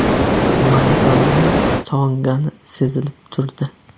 Maydonni sog‘ingani sezilib turdi.